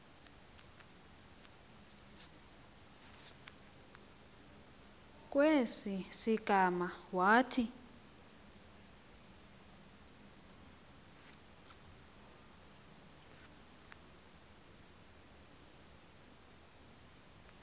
kwesi sigama wathi